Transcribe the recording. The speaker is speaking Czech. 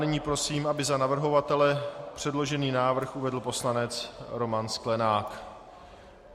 Nyní prosím, aby za navrhovatele předložený návrh uvedl poslanec Roman Sklenák.